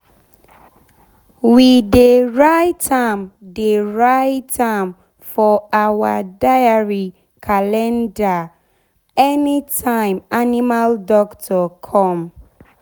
we dey write am dey write am for our diary calendar any time animal doctor come.